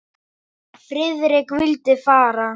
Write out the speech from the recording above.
Friðrik vildi fara.